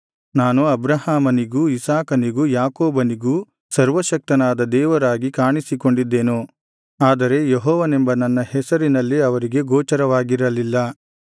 ನಾನು ಅಬ್ರಹಾಮನಿಗೂ ಇಸಾಕನಿಗೂ ಯಾಕೋಬನಿಗೂ ಸರ್ವಶಕ್ತನಾದ ದೇವರಾಗಿ ಕಾಣಿಸಿಕೊಂಡಿದ್ದೆನು ಆದರೆ ಯೆಹೋವನೆಂಬ ನನ್ನ ಹೆಸರಿನಲ್ಲಿ ಅವರಿಗೆ ಗೋಚರವಾಗಿರಲಿಲ್ಲ